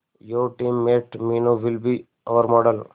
your team mate Meenu will be our model